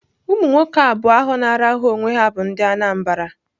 Ụmụ nwoke abụọ ahụ na-arahụ onwe ha bụ ndị Anambra.